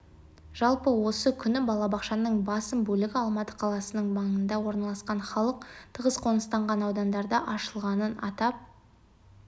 жалпы осы күні балабақшаның басым бөлігі алматы қаласының маңында орналасқан халық тығыз қоныстанған аудандарда ашылғанын атап